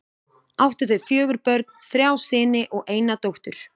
Áttu þau fjögur börn, þrjá syni og eina dóttur.